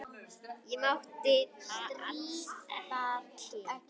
Ég mátti það alls ekki.